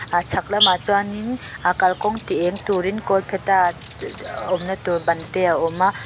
a chhak lam ah chuan in aa kalkawng ti eng tur in kawlphetha dhh awm na tu ban te a awm a.